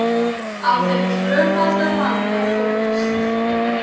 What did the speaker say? Á þeim tvöfalda vanda þóttist